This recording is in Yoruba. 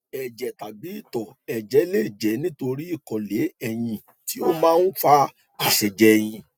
ẹjẹ tàbí itọ ẹjẹ lè jẹ nítorí ìkọlé eyin tí ó máa ń fa ìṣẹjẹ eyin